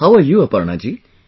How are you, Aparna ji